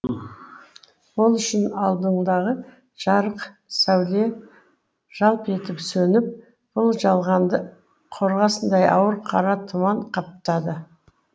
ол үшін алдындағы жарық сәуле жалп етіп сөніп бұл жалғанды қорғасындай ауыр қара тұман қаптады